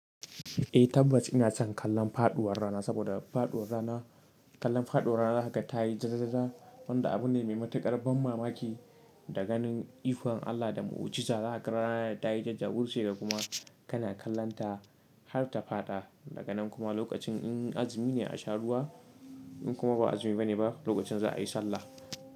Eh tabbas ina son kallon faɗuwar rana saboda faɗuwar rana, kallon faɗuwar rana haka ta yi jajajaja wanda abune mai matuƙar ban mamaki da ganin ikon Allah da mu ujiza zaka ga rana tayi jajjawurce da kuma Kana kallonta har ta faɗa daga nan kuma lokacin in azumi ne a sha ruwa in kuma ba azumi bane ba lokacin za a yi sallah.